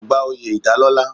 Kò gba oyè ìdálọ́lá.